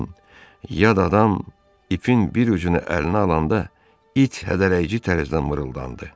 Lakin yad adam ipin bir ucunu əlinə alanda it hədələyici tərzdən mırıldandı.